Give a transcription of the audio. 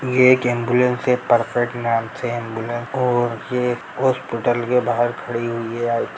ये एक एम्बुलेंस है परफेक्ट नाम से है एम्बुलेंस और ये हॉस्पिटल के बाहर खड़ी हुई है।